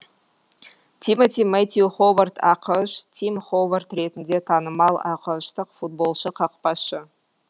тимоти мэттью ховард ақш тим ховард ретінде танымал ақш тық футболшы қақпашы